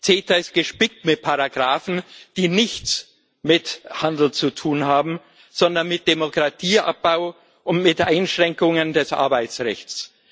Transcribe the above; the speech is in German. CETA ist gespickt mit Paragrafen, die nichts mit Handel zu tun haben, sondern mit Demokratieabbau und mit Einschränkungen des Arbeitsrechts.